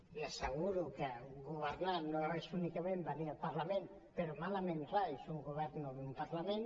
li asseguro que governar no és únicament venir al parlament però malament rai si un govern no ve a un parlament